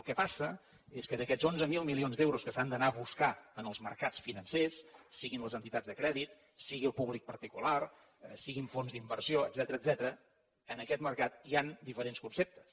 el que passa és que d’aquests onze mil milions d’euros que s’han d’anar a buscar en els mercats financers siguin les entitats de crèdit sigui el públic particular siguin fons d’inversió etcètera en aquest mercat hi han diferents conceptes